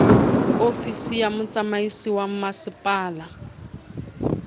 ofisi ya motsamaisi wa masepala